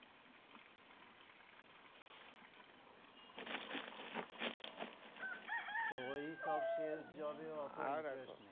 তো ঐ সব sales job এ